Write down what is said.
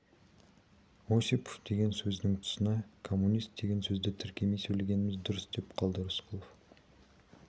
осипов деген сөздің тұсына коммунист деген сөзді тіркемей сөйлегеніміз дұрыс деп қалды рысқұлов